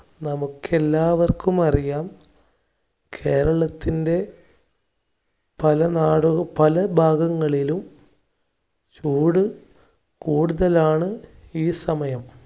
നമുക്കെല്ലാവർക്കും അറിയാം. കേരളത്തിൻ്റെ പല നാട് പല ഭാഗങ്ങളിലും ചൂട് കൂടുതലാണ് ഈ സമയം.